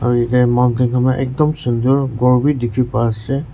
mountain khan beh ektum sundur kor beh dekhe pa ase.